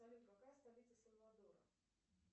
салют какая столица сальвадора